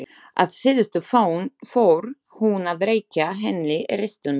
Að síðustu fór hún að rekja henni ristil sinn.